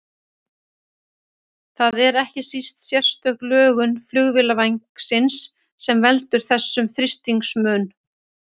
Það er ekki síst sérstök lögun flugvélarvængsins sem veldur þessum þrýstingsmun.